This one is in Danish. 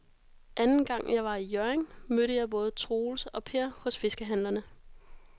Anden gang jeg var i Hjørring, mødte jeg både Troels og Per hos fiskehandlerne.